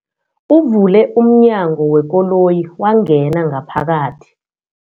Uvule umnyango wekoloyi wangena ngaphakathi.